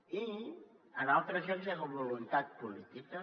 i en altres llocs hi ha hagut voluntat política